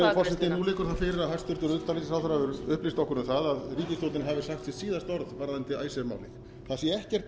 virðulegi forseti nú liggur það fyrir að hæstvirtur utanríkisráðherra hefur upplýst okkur um að ríkisstjórnin hefur sagt sitt síðasta orð varðandi icesave málið það sé ekkert